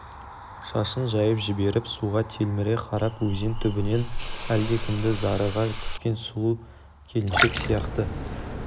шашын жайып жіберіп суға телміре қарап өзен түбінен әлдекімді зарыға күткен сұлу келіншек сияқты